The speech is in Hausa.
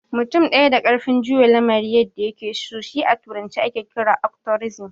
Mutum ɗaya da ƙarfin juya lamari yadda ya ke so shi a turance ake kira " Otokresi"